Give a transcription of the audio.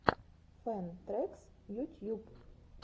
фэн трэкс ютьюб